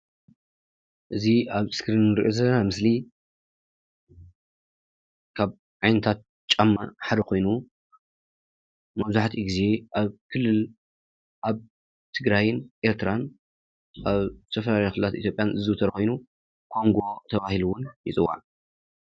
እዚ ኣብ እስክሪን እንሪኦ ዘለና ምስሊ ካብ ዓይነታት ጫማ ሓደ ኮይኑ መብዛሕቲኡ ግዜ ኣብ ክልል ኣብ ትግራይን ኤርትራን ኣብ ዝተፈላለዩ ክልላት ኢትዮጵያን ዝዝውተር ኮይኑ ኮንጎ ተባሂሉ እዉን ይፅዋዕ፡፡